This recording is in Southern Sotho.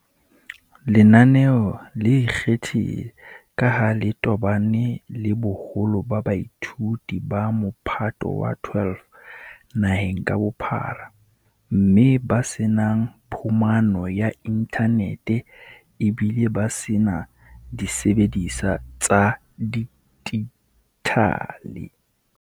Lenaneo le ikgethile ka ha le tobane le boholo ba baithuti ba Mophato wa 12 naheng ka bophara mme ba se nang phumano ya inthanete ebile ba se na disebediswa tsa dijithale.